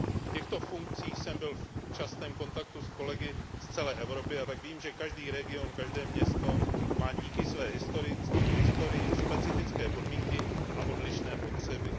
V těchto funkcích jsem byl v častém kontaktu s kolegy z celé Evropy a tak vím, že každý region, každé město má díky své historii specifické podmínky a odlišné potřeby.